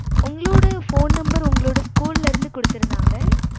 உங்களோட phone number உங்களோட school இருந்து குடுத்திருந்தாங்க